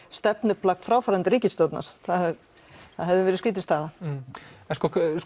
stefnuplagg fráfarandi ríkisstjórnar það hefði verið skrítin staða en